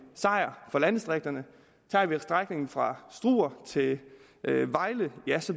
sejr for landdistrikterne tager vi strækningen fra struer til vejle